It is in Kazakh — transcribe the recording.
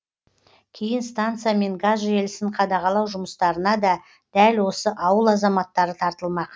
кейін станция мен газ желісін қадағалау жұмыстарына да дәл осы ауыл азаматтары тартылмақ